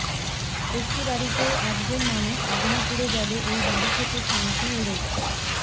একটি বাড়িতে একজন মানুষ আগুনে পুড়ে গেলে ওই বাড়ি থেকে শান্তিই উড়ে যায়